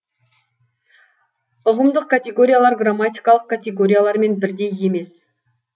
ұғымдық категориялар грамматикалық категориялармен бірдей емес